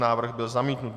Návrh byl zamítnut.